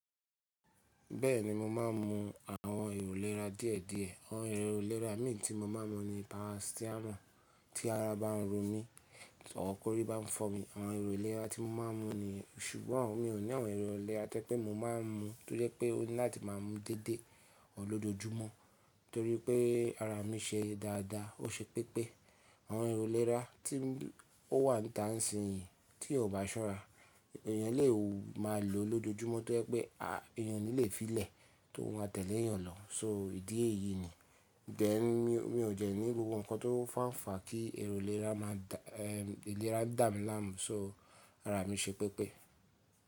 Bẹ́ẹ̀ni mo ma ń mu àwọn èrò lera díẹ̀díẹ̀. Àwọn èrò lera mì tí mo máa ń mu ni paracetamol tí ara bá ń ro mi, or kọ̀rí bá ń fọ́ mi. Àwọn èrò lera tí mo máa ń mu ni. Sùgbọ́n mi ò ní àwọn èrò ilera tẹ́ẹ́ pé mo máa ń mu, tó jẹ́ pé mo ni láti máa mu dédé ọ̀ lójoojúmọ́. Tórí pé ara mi ṣe dáadáa, ó ṣe pẹ́pẹ́. Àwọn èrò ilera tí ó wà n ta ń sìn yìí tí ò bá ṣọ́rá, èèyàn lè má lò ó lójoojúmọ́ tó jẹ́ pé èèyàn lè fílẹ̀ tó wà tẹ́lè èèyàn lọ. So ìdí èyí ni. Gẹ́ mi ò jẹ́ ni gbogbo nǹkan tó fànfà kí èrò lera máa dà, ẹẹ lera ń dà mí láàmú, so ara mi ṣe pẹ́pẹ́.